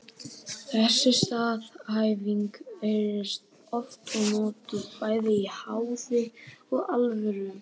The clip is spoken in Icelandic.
Þessi staðhæfing heyrist oft og notuð bæði í háði og alvöru.